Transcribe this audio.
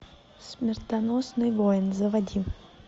смертоносный воин заводи